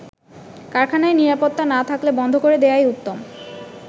কারখানায় নিরাপত্তা না থাকলে বন্ধ করে দেয়াই উত্তম।